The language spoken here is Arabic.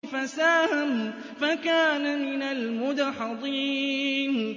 فَسَاهَمَ فَكَانَ مِنَ الْمُدْحَضِينَ